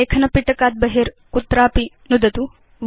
लेखन पिटकात् बहि कुत्रचित् नुदतु